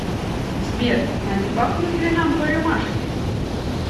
сбер а не бахнуть ли нам по рюмашке